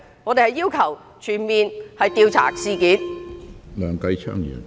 我們要求全面調查事件。